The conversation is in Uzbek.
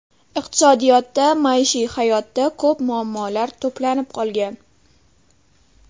Iqtisodiyotda, maishiy hayotda ko‘p muammolar to‘planib qolgan.